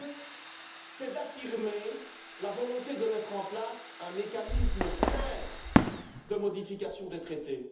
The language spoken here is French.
deuxièmement, c'est d'affirmer la volonté de mettre en place un mécanisme simple de modification des traités.